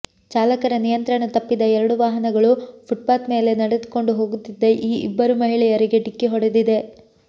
ಚಾಲಕರ ನಿಯಂತ್ರಣ ತಪ್ಪಿದ ಎರಡೂ ವಾಹನಗಳು ಫುಟ್ ಪಾತ್ ಮೇಲೆ ನಡೆದುಕೊಂಡು ಹೋಗುತ್ತಿದ್ದ ಈ ಇಬ್ಬರು ಮಹಿಳೆಯರಿಗೆ ಡಿಕ್ಕಿ ಹೊಡೆದಿದೆ